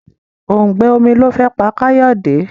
òùngbẹ omí ló fé pá Kayode.